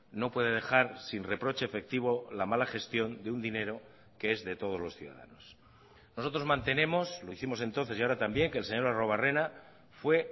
no puede dejar sin reproche efectivo la mala gestión de un dinero que es de todos los ciudadanos nosotros mantenemos lo hicimos entonces y ahora también que el señor arruebarrena fue